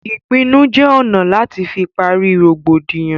Ìpinnu jẹ ọ̀nà láti fi pari rògbòdìyàn